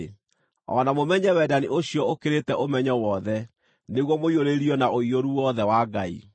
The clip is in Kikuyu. o na mũmenye wendani ũcio ũkĩrĩte ũmenyo wothe, nĩguo mũiyũrĩrĩrio na ũiyũru wothe wa Ngai.